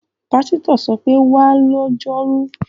Pásítọ̀ ṣọ pé, 'wá lọ́jọ́rú!'